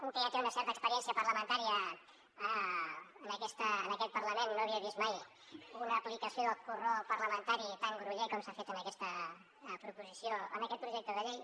un que ja té una certa experiència parlamentària en aquest parlament no havia vist mai una aplicació del corró parlamentari tan groller com s’ha fet en aquest projecte de llei